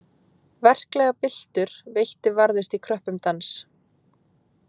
Verklegar byltur veitti varðist í kröppum dans.